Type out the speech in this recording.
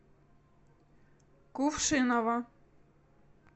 кувшиново